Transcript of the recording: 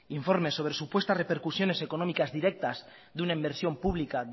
informe sobre supuesta repercusiones económicas directas de una inversión pública